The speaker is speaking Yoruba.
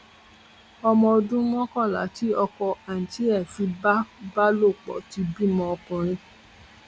ọmọ ọdún mọkànlá tí ọkọ àǹtí ẹ fipá bá lò pọ ti bímọ ọkùnrin